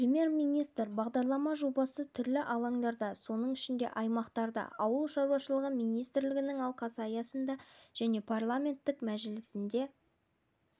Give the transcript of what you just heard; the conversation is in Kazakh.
премьер-министрі бақытжан сағынтаев үкімет отырысында министрлер кабинетіне жылдарға арналған жаңа дамыту мемлекеттік бағдарламасы бойынша әзірлік жұмыстарын